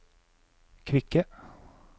kvikke